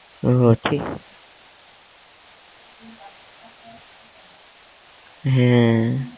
উহ ঠিক হ্যাঁ